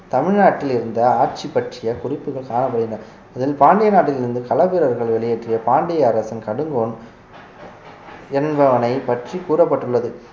தமிழ்நாட்டில் இருந்த ஆட்சி பற்றிய குறிப்புகள் காணப்படுகின்றன அதில் பாண்டிய நாட்டிலிருந்து கள வீரர்கள் வெளியேற்றிய பாண்டிய அரசின் கடுங்கோன் என்பவனை பற்றி கூறப்பட்டுள்ளது